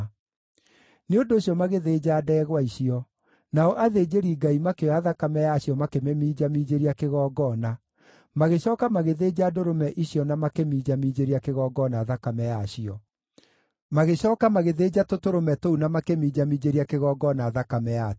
Nĩ ũndũ ũcio magĩthĩnja ndegwa icio, nao athĩnjĩri-Ngai makĩoya thakame yacio makĩmĩminjaminjĩria kĩgongona; magĩcooka magĩthĩnja ndũrũme icio na makĩminjaminjĩria kĩgongona thakame yacio; magĩcooka magĩthĩnja tũtũrũme tũu na makĩminjaminjĩria kĩgongona thakame yatuo.